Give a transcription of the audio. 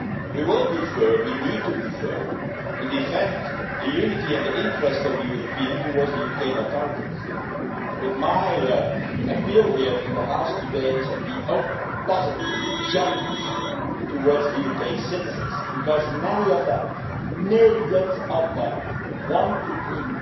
We will be firm, we need to be firm to defend the unity and the interest of the European Union towards the UK authorities, but my appeal here in the House today is to be open, positive and generous towards UK citizens, because many of them, millions of them, want to keep